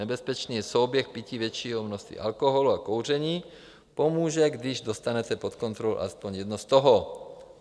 Nebezpečný je souběh pití většího množství alkoholu a kouření, pomůže, když dostanete pod kontrolu alespoň jedno z toho.